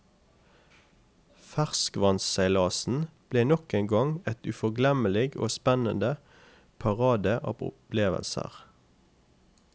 Ferskvannsseilasen ble nok en gang et uforglemmelig og spennede parade av opplevelser.